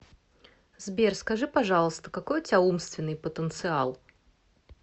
сбер скажи пожалуйста какой у тебя умственный потенциал